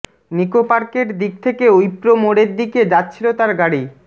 নিকোপার্কের দিক থেকে উইপ্রো মোড়ের দিকে যাচ্ছিল তার গাড়ি